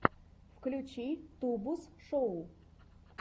включи тубус шоу